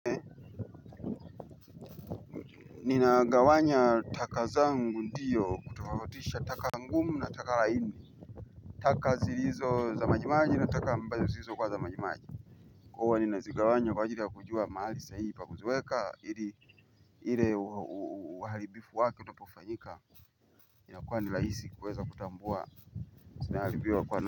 Nina gawanya taka zangu ndiyo kutofautisha taka ngumu na taka laini. Taka zilizo za majimaji na taka ambazo zilizo kuwa za majimaji. Kwa huwa nina zinagawanya kwa ajili ya kujua mahali sahihi pakuziweka hili hile uhalibifu wake utopofanyika. Inakuwa ni laisi kuweza kutambua. Sinahalibia kwa na.